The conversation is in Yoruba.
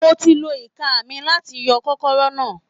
Mo ti lo ìka mi láti yọ kọ́kọ́rọ́ náà